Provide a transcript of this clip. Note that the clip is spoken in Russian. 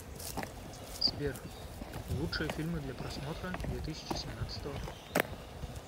сбер лучшие фильмы для просмотра две тысячи семнадцатого